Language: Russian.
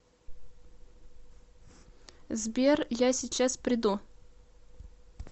сбер я сейчас приду